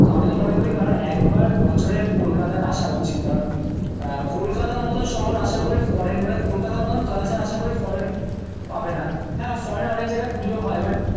তো আমি তো মনে করি কারণ একবার বছরে কলকাতায় আসা উচিত। কারণ আহ কলকাতার মতন শহর আশা করি ফরেন মানে কলকাতার মতন কালচার আশা করি ফরেন পাবে না। হ্যাঁ ফরেনে অনেক জায়গায় পুজো হয় বাট